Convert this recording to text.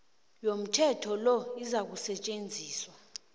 yomthetho lo izakusetjenziswa